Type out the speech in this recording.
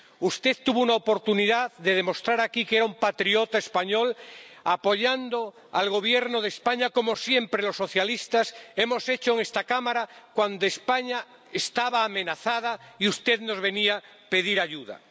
Usted tuvo una oportunidad de demostrar aquí que era un patriota español, apoyando al Gobierno de España, como siempre los socialistas hemos hecho en esta Cámara cuando España estaba amenazada y usted nos venía a pedir ayuda.